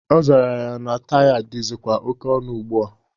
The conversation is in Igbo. Ọ zara na taya dịzikwa oke ọnụ ugbua.